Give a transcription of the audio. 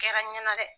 Kɛra n ɲɛna dɛ